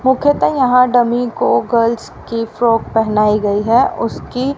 मुख्यत यहां डम्मी को गर्ल्स की फ्रॉक पहनाई गई है उसकी--